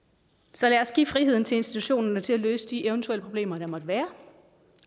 så lad os give friheden til institutionerne til at løse de eventuelle problemer der måtte være